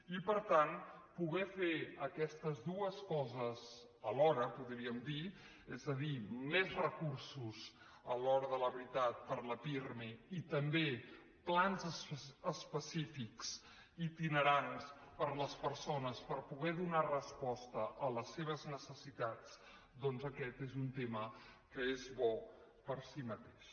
i per tant poder fer aquestes dues coses alhora en podríem dir és a dir més recursos a l’hora de la veritat per al pirmi i també plans específics itinerants per a les persones per poder donar resposta a les seves necessitats doncs aquest és un tema que és bo per si mateix